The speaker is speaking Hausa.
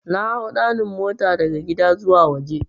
Nahau 'ɗanin' mota daga gida zuwa waje.